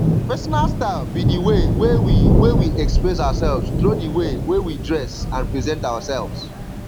personal style be di way wey we wey we express ourselves through di way wey we dress and present ourselves